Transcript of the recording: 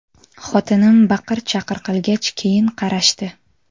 Xotinim baqir-chaqir qilgach keyin qarashdi.